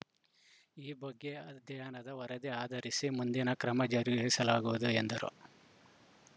ಈ ಬಗ್ಗೆ ಅಧ್ಯಯನದ ವರದಿ ಆಧರಿಸಿ ಮುಂದಿನ ಕ್ರಮ ಜರುಗಿಸಲಾಗುವುದು ಎಂದರು